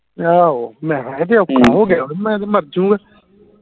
ਆਹੋ ਮੈਂ ਹਾਂ ਇਹ ਤੇ ਔਖਾ ਹੋ ਗਿਆ ਮੈਂ ਤੇ ਮਾਰਜੁਗਾ